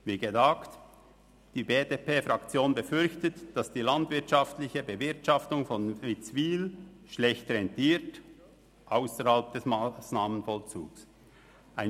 Wie gesagt: Die BDP-Fraktion befürchtet, dass die landwirtschaftliche Bewirtschaftung von Witzwil ausserhalb des Massnahmenvollzugs schlecht rentiert.